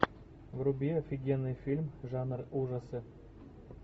вруби офигенный фильм жанр ужасы